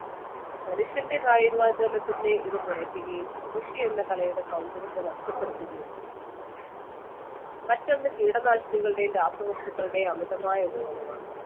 മനുഷ്യന്റെ കായികാധ്വാനത്തെ ഇത് കുറയ്ക്കുകയും കൃഷിയെന്ന കലയുടെ സൗന്ദര്യത്തെ നഷ്ടപ്പെടുത്തുകയും ചെയ്തു. മറ്റൊന്ന് കീടനാശിനികളുടെയും രാസവസ്തുക്കളുടെയും അമിതമായ ഉപയോഗമാണ്.